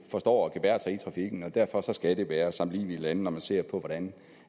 forstår at gebærde sig i trafikken og derfor skal det være sammenlignelige lande hvor man ser på hvordan